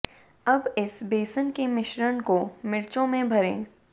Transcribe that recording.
अब इस बेसन के मिश्रण को मिर्चों में भरें